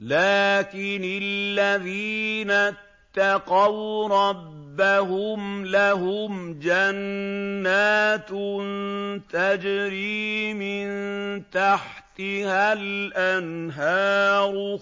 لَٰكِنِ الَّذِينَ اتَّقَوْا رَبَّهُمْ لَهُمْ جَنَّاتٌ تَجْرِي مِن تَحْتِهَا الْأَنْهَارُ